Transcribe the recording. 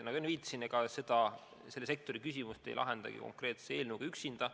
Nagu enne viitasin, ega selle sektori probleeme ei lahendagi konkreetse eelnõuga üksinda.